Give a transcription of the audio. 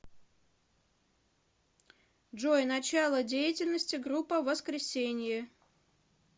джой начало деятельности группа воскресенье